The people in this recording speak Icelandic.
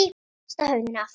Ég kasta höfðinu aftur.